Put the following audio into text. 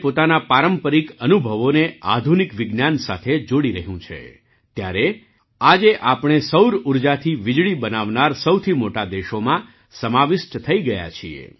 ભારત આજે પોતાના પારંપરિક અનુભવોને આધુનિક વિજ્ઞાન સાથે જોડી રહ્યું છે ત્યારે આજે આપણે સૌર ઊર્જાથી વીજળી બનાવનારા સૌથી મોટા દેશોમાં સમાવિષ્ટ થઈ ગયા છીએ